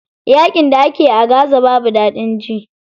Yaƙin da ake a gaza babu daɗin ji.